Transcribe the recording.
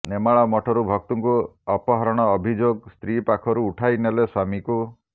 ନେମାଳ ମଠରୁ ଭକ୍ତଙ୍କୁ ଅପହରଣ ଅଭିଯୋଗ ସ୍ତ୍ରୀ ପାଖରୁ ଉଠାଇ ନେଲେ ସ୍ୱାମୀକୁ